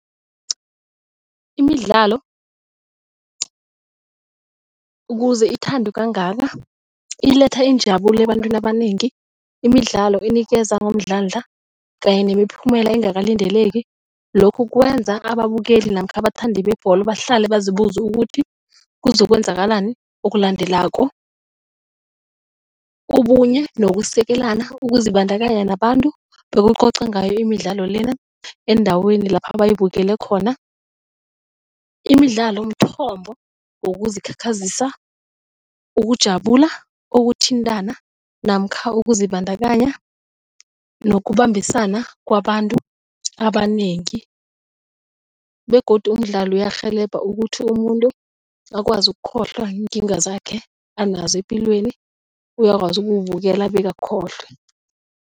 Imidlalo ukuze ithandwe kangaka iletha injabulo ebantwini abanengi. Imidlalo inikeza ngomdlandla kanye nemiphumela engakalindeleki lokhu kwenza ababukeli namkha abathandi bebholo bahlale bazibuza ukuthi kuzokwenzakalani okulandelako. Ubunye nokusekelalana, ukuzibandakanya nabantu bokucoca ngayo imidlalo lena endaweni lapha bayibukele khona. Imidlalo mthombo wokuzikhakhazisa ukujabula, ukuthintana namkha ukuzibandakanya nokubambisana kwabantu abanengi begodu umdlalo uyarhelebha ukuthi umuntu akwazi ukukhohlwa iinkinga zakhe anazo epilweni uyakwazi ukuwubukela bekakhohlwe.